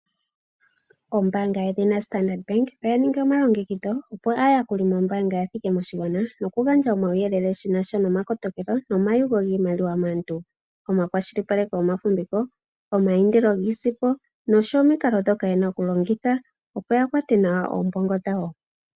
Ombaanga yedhina Standard Bank oya ningi omalongekidho opo aayakuli mombaanga ya thike moshigwana noku gandja omauyelele shinasha noma kotokelo noma yugo giimaliwa maantu , omakwashilipaleko gomafumbiko , omayindilo giisimpo nosho woo omikalo dhoka yena oku longitha opo ya kwate nawa oombongo dhawo .